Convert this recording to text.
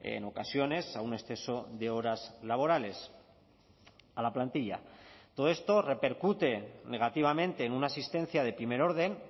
en ocasiones a un exceso de horas laborales a la plantilla todo esto repercute negativamente en una asistencia de primer orden